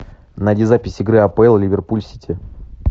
найди запись игры апл ливерпуль сити